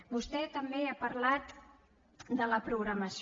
vostè també ha parlat de la programació